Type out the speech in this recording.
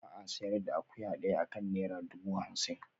Ba a sayar da akuya daya akan naira dubu hamsin